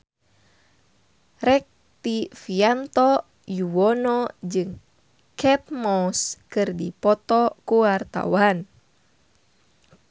Rektivianto Yoewono jeung Kate Moss keur dipoto ku wartawan